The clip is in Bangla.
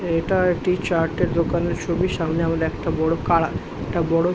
এইটা একটি চাটের দোকানের ছবি। সামনে একটি বড় কারা। একটা বড়--